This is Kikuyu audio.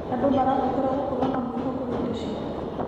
Andũ marabatara gũkorwo na mwĩhoko hĩndĩ ciothe.